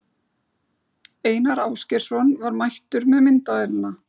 Einar Ásgeirsson var mættur með myndavélina.